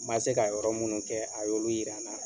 Ma se ka yɔrɔ minnu kɛ, a y'olu yira n na.